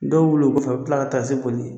Dɔw wili o kɔfɛ u bɛ tila ka taa se koli ye